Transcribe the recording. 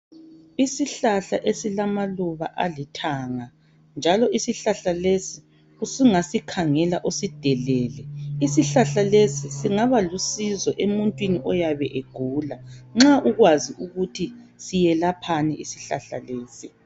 Isihlahla esilamaluba alithanga, njalo isihlahla lesi ungasikhangela usidelele, isihlahla lesi singaba lusizo emuntwini oyabe egula nxa uyabe ukwazi ukuthi siyelaphani isihlahla lesi.